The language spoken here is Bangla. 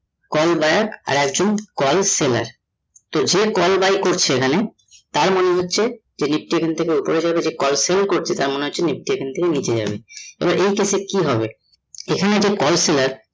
call buyer আর একজন call seller তো যে call buy করছে এখানে তার মানে হচ্ছে এদিক টা এখানে থেকে ওপরে যাবে যে call sell করছে তার মনে হচ্ছে nifty এখন থেকে নিচে যাবে । এবার এই ক্ষেত্রে কি হবে এখানে যে call seller